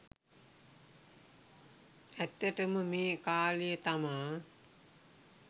ඇත්තට ම මේ කාලය තමා